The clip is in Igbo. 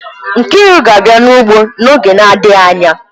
Nkriu ga-abia n'ugbo n'oge na-adịghị anya.